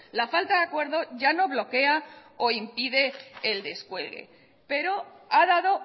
la falta de acuerdo ya no bloquea o impide el descuelgue pero ha dado